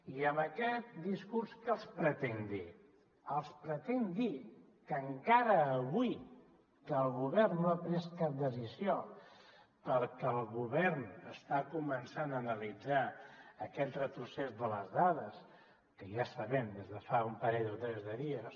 i amb aquest discurs què els pretenc dir els pretenc dir que encara avui que el govern no ha pres cap decisió perquè el govern està començant a analitzar aquest retrocés de les dades que ja sabem des de fa un parell o tres dies